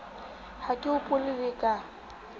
ha ke hopole le ka